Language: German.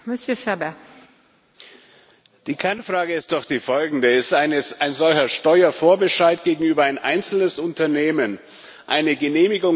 Die Kernfrage ist doch die folgende Ist ein solcher Steuervorbescheid gegenüber einem einzelnen Unternehmen eine genehmigungsfähige Beihilfe oder nicht?